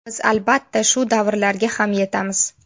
Biz, albatta, shu davrlarga ham yetamiz.